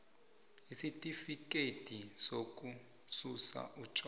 isitifikhethi sokususa utjwala